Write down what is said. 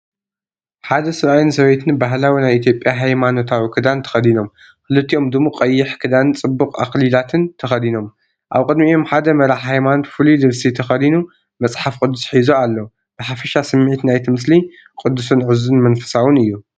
ሓደ ሰብኣይን ሰበይትን ባህላዊ ናይ ኢትዮጵያ ሃይማኖታዊ ክዳን ተኸዲኖም፣ ክልቲኦም ድሙቕ ቀይሕ ክዳንን ጽቡቕ ኣኽሊላትን ተኸዲኖም፣ ኣብ ቅድሚኦም ሓደ መራሒ ሃይማኖት ፍሉይ ልብሲ ተኸዲኑ መፅሓፍ ቅዱስ ሒዙ ኣሎ። ብሓፈሻ ስሚዒት ናይቲ ምስሊ ቅዱስን ዕዙዝን መንፈሳውን እዩ።